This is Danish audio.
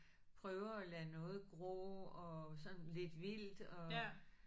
Prøver at lade noget gro og sådan lidt vildt og